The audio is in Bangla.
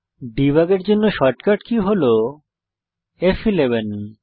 দেবুগ এর জন্য শর্টকাট কী হল ফ11